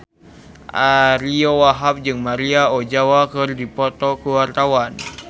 Ariyo Wahab jeung Maria Ozawa keur dipoto ku wartawan